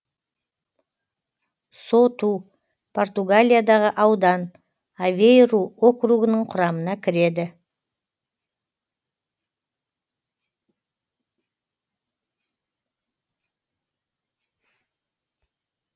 соту португалиядағы аудан авейру округінің құрамына кіреді